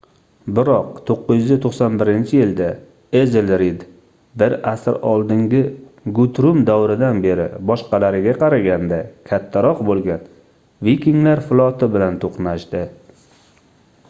biroq 991-yilda ezelred bir asr oldingi gutrum davridan beri boshqalariga qaraganda kattaroq boʻlgan vikinglar floti bilan toʻqnashdi